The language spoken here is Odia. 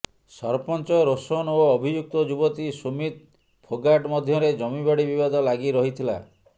ସରପଞ୍ଚ ରୋଶନ ଓ ଅଭିଯୁକ୍ତ ଯୁବତୀ ସୁମିତ ଫୋଗାଟ ମଧ୍ୟରେ ଜମିବାଡ଼ି ବିବାଦ ଲାଗି ରହିଥିଲା